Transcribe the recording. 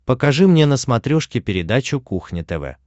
покажи мне на смотрешке передачу кухня тв